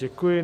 Děkuji.